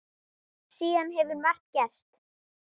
Síðan hefur margt gerst.